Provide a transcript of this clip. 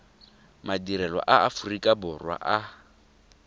madirelo a aforika borwa a